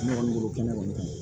Ne kɔni bolo kɛnɛ kɔni